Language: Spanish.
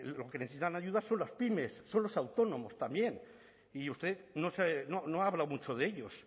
los que necesitan ayuda son las pymes son los autónomos también y usted no habla mucho de ellos